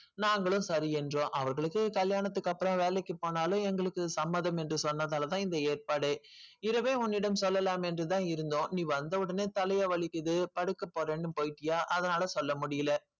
நாங்களும் சரி என்றோம் அவர்களுக்கு கல்யாணத்திற்கு அப்புறம் வேலைக்கு போனாலும் எங்களுக்கு சம்மதம் என்று சொன்னதால தான் இந்த ஏற்பாடு இரவே உன்னிடம் சொல்லலாம் என்று தான் இருந்தோம் நீ வந்த உடனே தலையை வலிக்குது படுக்க போரேன்னு போய்ட்டிய அதனால சொல்ல முடியல.